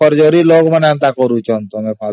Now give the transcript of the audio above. ସେ forgery ଲୋକ ମାନଙ୍କ କାମ ଏସବୁ